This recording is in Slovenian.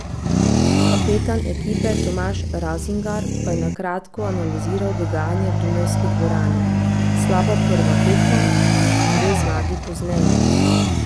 Kapetan ekipe Tomaž Razingar pa je na kratko analiziral dogajanje v dunajski dvorani: 'Slaba prva tekma, dve zmagi pozneje.